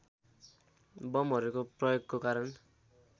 बमहरूको प्रयोगको कारण